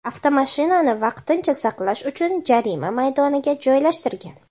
avtomashinani vaqtincha saqlash uchun jarima maydoniga joylashtirgan.